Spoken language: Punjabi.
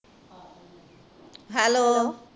Hello